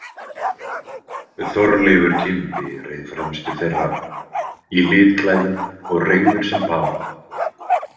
Þorleifur kimbi reið fremstur þeirra, í litklæðum og reigður sem pá.